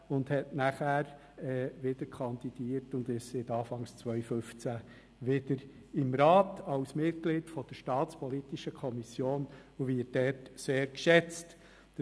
Er hat danach wieder kandidiert und ist seit Anfang 2015 wieder im Rat, als Mitglied der SAK, in der er sehr geschätzt wird.